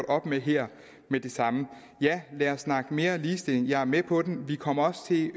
op med her med det samme ja lad os snakke mere ligestilling jeg er med på den vi kommer